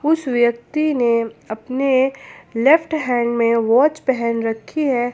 उस व्यक्ति ने अपने लेफ्ट हैंड में वॉच पहन रखी है।